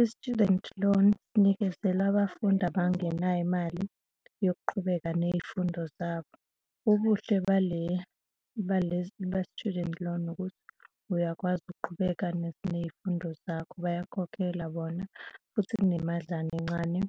i-student loan sinikezelwa abafundi abangenayo imali yokuqhubeka ney'fundo zabo, ubuhle ba-student loan ukuthi uyakwazi ukuqhubeka ney'fundo zakho, bayakhokhela bona futhi kunemadlana encane